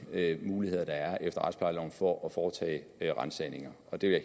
muligheder der er efter retsplejeloven for at foretage ransagninger og det